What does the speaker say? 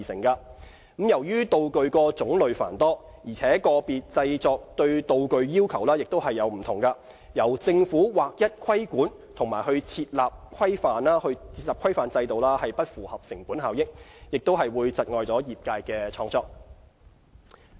由於道具種類繁多，而個別製作對道具要求各異，由政府劃一規管和設立規範制度不符合成本效益，亦會窒礙業界的創作。